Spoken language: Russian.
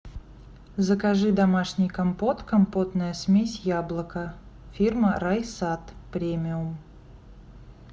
закажи домашний компот компотная смесь яблоко фирма райсад премиум